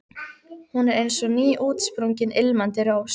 Hún er eins og nýútsprungin, ilmandi rós.